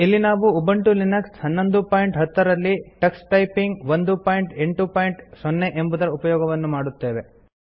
ಇಲ್ಲಿ ನಾವು Ubuntu Linux 1110 ರಲ್ಲಿ ಟಕ್ಸ್ ಟೈಪಿಂಗ್ 180 ಎಂಬುದರ ಉಪಯೋಗವನ್ನು ಮಾಡುತ್ತೇವೆ